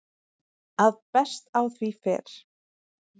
að best á því fer